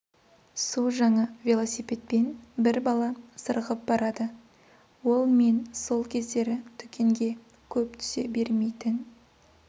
су жаңа велосипедпен бір бала зырғып барады ол мен сол кездері дүкенге көп түсе бермейтін